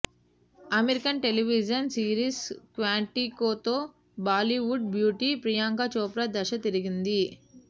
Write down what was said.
American television series క్వాంటికోతో Bollywood beauty Priyanka Chopra దశ తిరిగింది